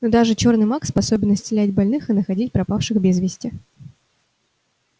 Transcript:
но даже чёрный маг способен исцелять больных и находить пропавших без вести